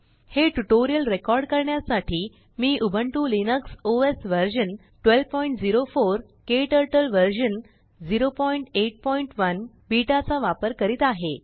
हे tutorial record करण्यासाठी मी उबुंटू लिनक्स ओएस व्हर्शन 1204केटरटल व्हर्शन 081बीटा चा वापर करीत आहे